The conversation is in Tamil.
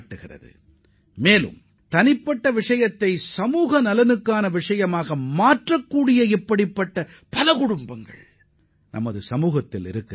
நமது சமுதாயத்தில் உள்ள ஏராளமான குடும்பங்கள் அவர்களது தனிப்பட்ட பிரச்சினைகளை ஒட்டுமொத்த சமுதாயத்திற்கும் பயனளிக்கும் வகையில் எவ்வாறு தீர்வுகாண்கிறார்கள் என்பதை இதன் மூலம் உணரலாம்